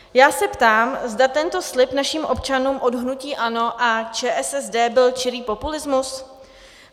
Já se ptám, zda tento slib našim občanům od hnutí ANO a ČSSD byl čirý populismus.